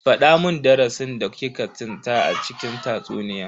Fada mun darasin da ki ka tsinta a cikin tatsuniyan.